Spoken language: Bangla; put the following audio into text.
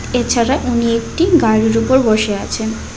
এ ছাড়া উনি একটি গাড়ির উপর বসে আছেন।